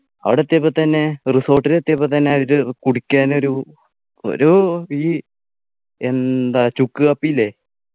അവിടെ എത്തിയപ്പോ തന്നെ resort ൽ എത്തിയപ്പോ തന്നെ അവര് കുടിക്കാൻ ഒരു ഒരു ഈ എന്താ ചുക്ക് കാപ്പി ഇല്ലേ